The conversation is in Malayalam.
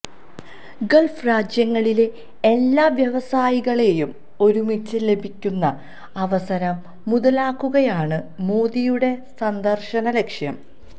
ഗള്ഫ് രാജ്യങ്ങളിലെ എല്ലാ വ്യവസായികളെയും ഒരുമിച്ച് ലഭിക്കുന്ന അവസരം മുതലാക്കുകയാണ് മോദിയുടെ സന്ദര്ശന ലക്ഷ്യം